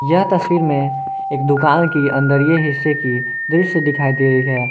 यह तस्वीर में एक दुकान की अंदरिये हिस्से की दृश्य दिखाई दे रही है।